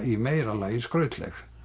í meira lagi skrautleg